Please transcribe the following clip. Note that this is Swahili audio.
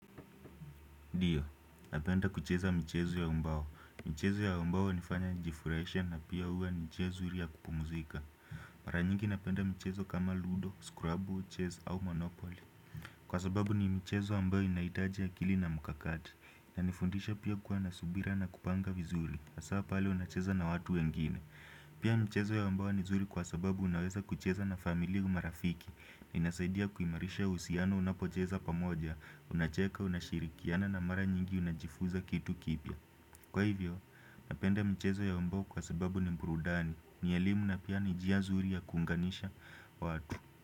Ndiyo, napenda kucheza mchezo ya mbao. Mchezo ya mbao hunifanya nijifurahishe na pia uwe ni mchezo mzuri ya kupumzika. Mara nyingi napenda mchezo kama ludo, scrub, chizi au monopoli. Kwa sababu ni michezo ambayo inahitaji akili na mkakati. Inanifundisha pia kuwa na subira na kupanga vizuri. Sababu pale unacheza na watu wengine. Pia mchezo ya mbao nzuri kwa sababu unaweza kucheza na familia na marafiki. Inasaidia kuimarisha uhusiano unapocheza pamoja. Unacheka unashirikiana na mara nyingi unajifuza kitu kipya. Kwa hivyo, napenda mchezo ya wa mbao kwa sababu ni burudani ni elimu na pia ni njia nzuri ya kuunganisha watu.